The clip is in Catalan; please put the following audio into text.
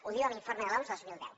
ho diu l’informe de l’oms dos mil deu